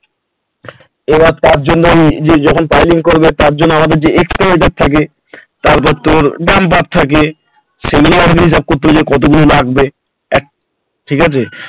এবার তার জন্য যখন piling করবে তার জন্য আমাদের যে extra থাকে তারপর তোর dumper থাকে সেগুলো আমাকে হিসাবে করতে হবে যে কত গুলো লাগবে ঠিক আছে